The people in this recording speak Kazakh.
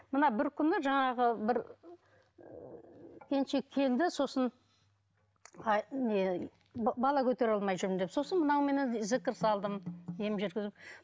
мына бір күні жаңағы бір ы келіншек келді сосын а не бала көтере алмай жүрмін деп сосын мынауменен зікір салдым ем жүргізіп